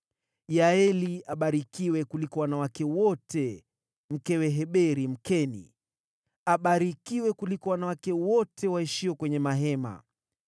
“Yaeli abarikiwe kuliko wanawake wote, mkewe Heberi, Mkeni, abarikiwe kuliko wanawake wote waishio kwenye mahema.